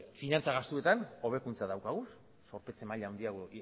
finantza gastuetan hobekuntza daukagu zorpetze maila handiagoa